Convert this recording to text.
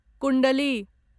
कुण्डली